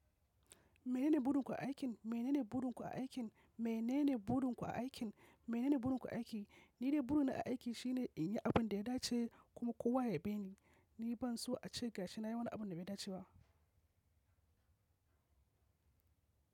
Menene burinku a aikin? Menene burinku a aikin? Menene burin ku a aikin? Menene burinku a aiki? Ni dai burina a aiki shine inyi abunda ya dace kuma kowa ya yabeni. Ni banso ace gashi nayi wani abu dabai daceba.